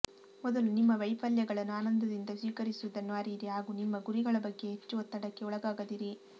ಮೊದಲು ನಿಮ್ಮ ವೈಫಲ್ಯಗಳನ್ನು ಆನಂದದಿಂದ ಸ್ವೀಕರಿಸುವುದನ್ನು ಅರಿಯಿರಿ ಹಾಗೂ ನಿಮ್ಮ ಗುರಿಗಳ ಬಗ್ಗೆ ಹೆಚ್ಚು ಒತ್ತಡಕ್ಕೆ ಒಳಗಾಗದಿರಿ